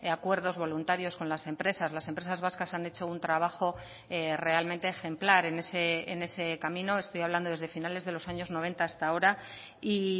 acuerdos voluntarios con las empresas las empresas vascas han hecho un trabajo realmente ejemplar en ese camino estoy hablando desde finales de los años noventa hasta ahora y